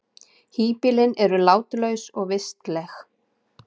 Híbýlin eru látlaus og vistleg.